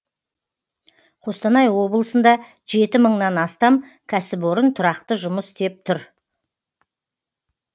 қостанай облысында жеті мыңнан астам кәсіпорын тұрақты жұмыс істеп тұр